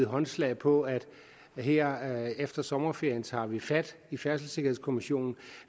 håndslag på at vi her efter sommerferien tager fat på i færdselssikkerhedskommissionen